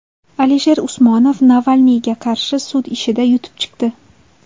Alisher Usmonov Navalniyga qarshi sud ishida yutib chiqdi.